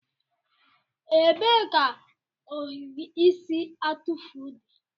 Ebee ka ohiri isi atụfu dị?